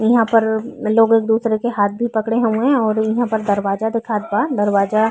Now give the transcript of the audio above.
उहां पर लोग एक दूसरे के हाथ भी पकड़े हउए और इहां पे दरवजा दिखात बा दरवजा --